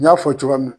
N y'a fɔ cogoya min na